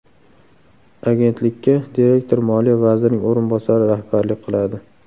Agentlikka direktor Moliya vazirining o‘rinbosari rahbarlik qiladi.